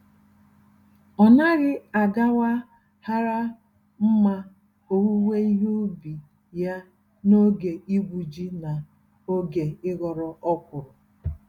Ọnaghị agawa hara mma owuwe ihe ubi ya n'oge igwu-ji na oge ịghọ ọkwụrụ.